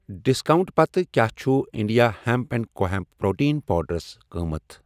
Discount پتہٕ کیٛاہ چھُ India hemp and co hemp protein powders قۭمتھ؟